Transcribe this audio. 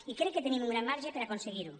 i crec que tenim un gran marge per aconseguir ho